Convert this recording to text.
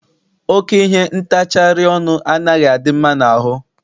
Oke ihe ntacharị ọnụ anaghị adị mma n'ahụ.